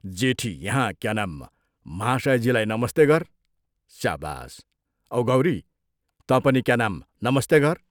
जेठी यहाँ, क्या नाम महाशयजीलाई नमस्ते गर् स्याबास् औ गौरी, तँ पनि क्या नाम नमस्ते गर्।